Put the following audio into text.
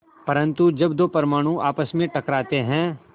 परन्तु जब दो परमाणु आपस में टकराते हैं